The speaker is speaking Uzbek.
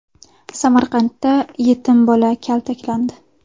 Samarqandda yetim bola kaltaklandi .